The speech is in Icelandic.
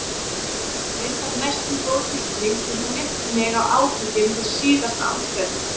Reyndar næstum góð tilfinning því hún minnti mig á átökin við síðasta andstæðing.